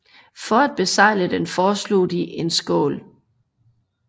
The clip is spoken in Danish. For at besegle den foreslog de en skål